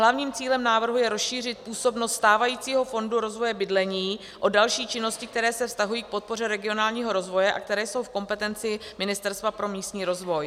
Hlavním cílem návrhu je rozšířit působnost stávajícího fondu rozvoje bydlení o další činnosti, které se vztahují k podpoře regionálního rozvoje a které jsou v kompetenci Ministerstva pro místní rozvoj.